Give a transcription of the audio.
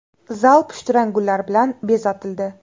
Zal pushtirang gullar bilan bezatildi.